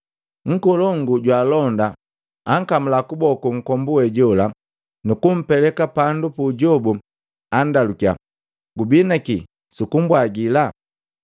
Nkolongu jwaalonda ankamula kuboku nkombu we jola, nukumpeleka pandu puujobu, andalukiya, “Gubi na kii sukumbwagila?”